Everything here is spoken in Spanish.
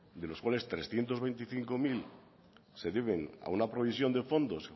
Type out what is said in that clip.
de los cuales trescientos veinticinco mil se deben a una provisión de fondos